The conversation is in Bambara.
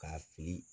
K'a fili